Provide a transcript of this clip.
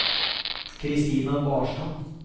Kristina Barstad